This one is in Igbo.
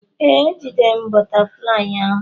Ee, ejidere m bụtaflịyị ahụ.